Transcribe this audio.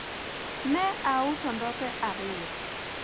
ne auso ndope ariyo